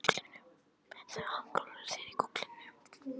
Hann klóraði sér í kollinum.